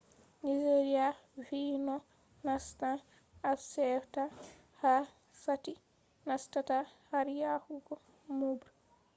nigeria vi no nastan afcfta ha sati nastata har yahugo moobre